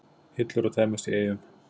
Hillur að tæmast í Eyjum